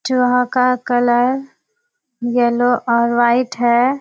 चूहा का colour yellow और व्हाइट हैं।